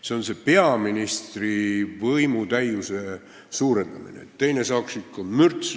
See on see peaministri võimutäiuse suurendamine, et saaks teine ikka mürts!